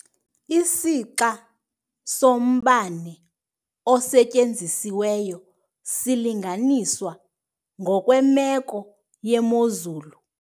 Isixa sombane osetyenzisiweyo silinganiswa ngokwemeko yemozulu.